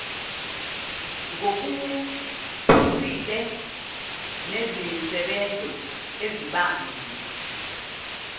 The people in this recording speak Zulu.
ngokuphusile nezinsebenzo ezibanzi